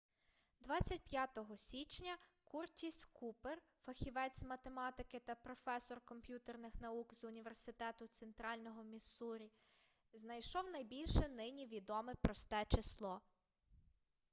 25-го січня куртіс купер фахівець з математики та професор комп'ютерних наук з університету центрального міссурі знайшов найбільше нині відоме просте число